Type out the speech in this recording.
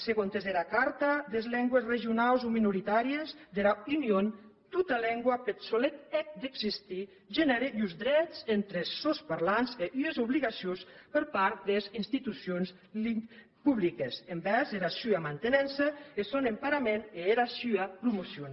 segontes era car ta des lengües regionaus o minoritàries dera union tota lengua peth solet hèt d’existir genère uns drets entre es sòns parlants e ues obligacions per part des institucions publiques envèrs era sua mantenença eth sòn emparament e era sua promocion